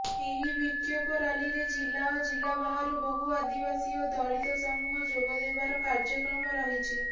ଏହି ବିକ୍ଷୋଭ ରାଲିରେ ଜିଲ୍ଲା ଓ ଜିଲ୍ଲାବାହାରୁ ବହୁ ଆଦିବାସୀ ଓ ଦଳିତ ସମୁହ ଯୋଗଦେବାର କାର୍ଯ୍ୟକ୍ରମ ରହିଛି